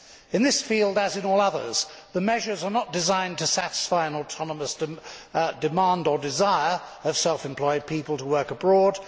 In this field, as in all others, the measures are not designed to satisfy an autonomous demand or the desire of self employed people to work abroad.